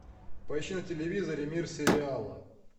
поищи на телевизоре мир сериала